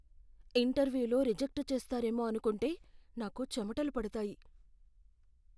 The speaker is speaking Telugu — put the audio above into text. ఇంటర్వ్యూలో రిజెక్ట్ చేస్తారేమో అనుకుంటే నాకు చెమటలు పడతాయి.